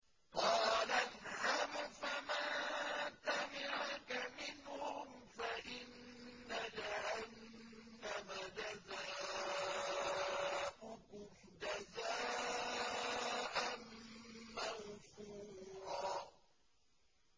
قَالَ اذْهَبْ فَمَن تَبِعَكَ مِنْهُمْ فَإِنَّ جَهَنَّمَ جَزَاؤُكُمْ جَزَاءً مَّوْفُورًا